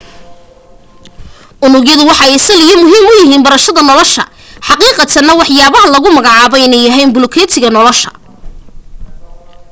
unugyadu waxay sal iyo muhiim u yihiin barashada nolosha xaqiiqatana waxaaba lagu magacaaba inay yihiin bulukeetiga nolosha